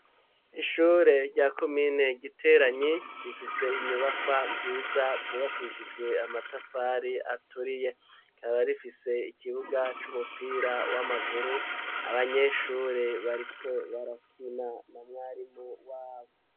ishure rya komine Giteranyi rifise inyubakwa nziza zubakishijwe amatafari aturiye, rikaba rifise ikibuga c'umupira w'amaguru abanyeshuri bariko barakina na mwarimu wabo.